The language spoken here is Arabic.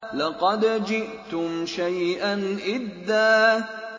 لَّقَدْ جِئْتُمْ شَيْئًا إِدًّا